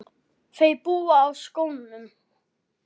Þau búa á Skógum.